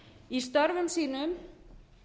í störfum sínum